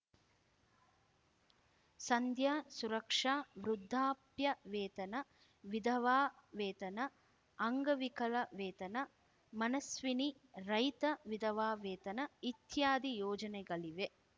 ಸಂಧ್ಯಾ ಸುರಕ್ಷಾ ವೃದ್ದಾಪ್ಯವೇತನ ವಿಧವಾ ವೇತನ ಅಂಗವಿಕಲ ವೇತನ ಮನಸ್ವಿನಿ ರೈತ ವಿಧವಾ ವೇತನ ಇತ್ಯಾದಿ ಯೋಜನೆಗಳಿವೆ